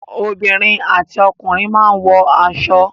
Obìnrin àti ọkùnrin máa wọ aṣọ.